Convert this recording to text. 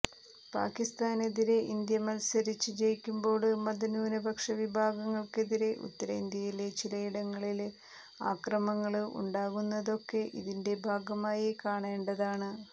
പാകിസ്താനെതിരെ ഇന്ത്യ മല്സരിച്ച് ജയിക്കുമ്പോള് മത ന്യൂനപക്ഷ വിഭാഗങ്ങള്ക്കെതിരെ ഉത്തരേന്ത്യയിലെ ചിലയിടങ്ങളില് ആക്രമങ്ങള് ഉണ്ടാകുന്നതൊക്കെ ഇതിന്റെ ഭാഗമായി കാണേണ്ടതാണ്